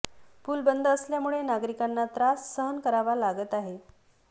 पूल बंद असल्यामुळे नागरिकांना त्रास सहन करावा लागत आहे